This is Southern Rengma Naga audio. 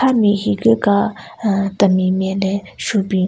Ame higu ka aahh temi nme le shubin.